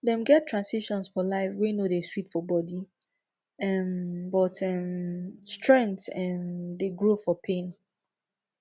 dem get transitions for life wey no dey sweet for body um but um strength um dey grow for pain